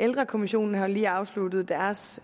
ældrekommissionen har jo lige afsluttet deres